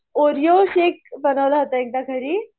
Oreo shake बनवला होता एकदा घरी